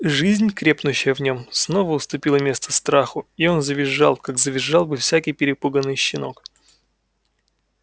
жизнь крепнущая в нем снова уступила место страху и он завизжал как завизжал бы всякий перепуганный щенок